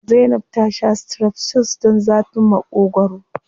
Zainab ta sha strepsils don zafin Maƙogwaro.